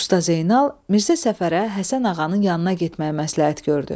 Usta Zeynal Mirzə Səfərə Həsən ağanın yanına getməyi məsləhət gördü.